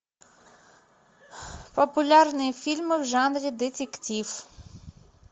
популярные фильмы в жанре детектив